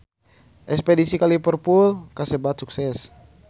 Espedisi ka Liverpool kasebat sukses